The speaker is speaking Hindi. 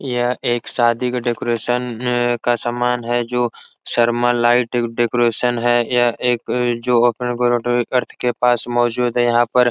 यह एक शादी का डेकोरेशन मम आ का समान हैं जो शर्मा लाइट डेकोरेशन है। यह एक जो पास मोजूद है। यहां पर --